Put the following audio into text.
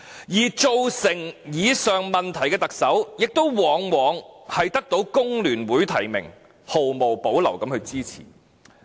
而造成以上問題的特首，亦往往獲香港工會聯合會提名及毫無保留的支持。